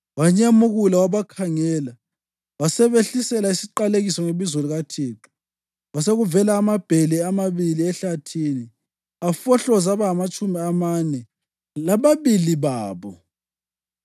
Wanyemukula, wabakhangela wasebehlisela isiqalekiso ngebizo likaThixo. Kwasekuvela amabhele amabili ehlathini afohloza abangamatshumi amane lababili babo.